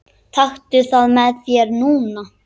Taktu það með þér núna!